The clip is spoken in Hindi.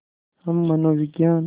हम मनोविज्ञान